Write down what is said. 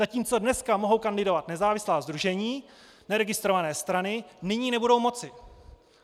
Zatímco dnes mohou kandidovat nezávislá sdružení, neregistrované strany, nyní nebudou moci.